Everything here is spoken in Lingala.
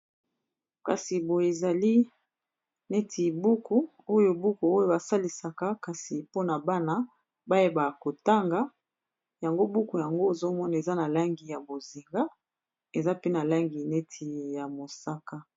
kasi boyo ezali neti ebuku oyo buku oyo basalisaka kasi mpona bana bayebaka kotanga yango buku yango ozomona eza na langi ya bozinga eza pe na langi neti ya mosaka